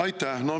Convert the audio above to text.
Aitäh!